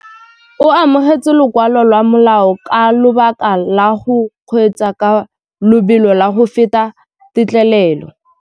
O amogetse lokwalô lwa molao ka lobaka lwa go kgweetsa ka lobelo la go feta têtlêlêlô.